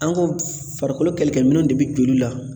An ka farikolo kɛlɛkɛ minɛnw de bɛ joli la